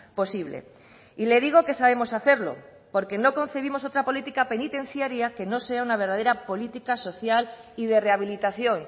posible y le digo que sabemos hacerlo porque no concebimos otra política penitenciaria que no sea una verdadera política social y de rehabilitación